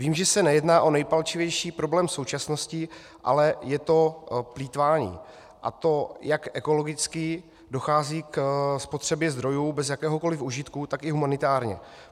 Vím, že se nejedná o nejpalčivější problém současnosti, ale je to plýtvání, a to jak ekologicky - dochází ke spotřebě zdrojů bez jakéhokoli užitku -, tak i humanitárně.